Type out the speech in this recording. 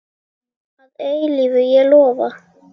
Að eilífu, ég lofa.